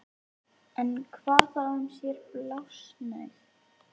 En hvað þá um séra Blásnauð